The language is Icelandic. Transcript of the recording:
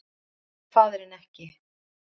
Hann hefur faðirinn ekki